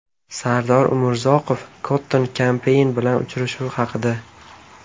Sardor Umurzoqov Cotton Campaign bilan uchrashuv haqida.